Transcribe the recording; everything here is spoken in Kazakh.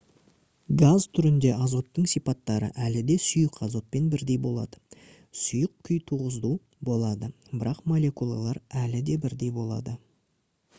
газ түрінде азоттың сипаттары әлі де сұйық азотпен бірдей болады сұйық күй тығыздау болады бірақ молекулалар әлі де бірдей болады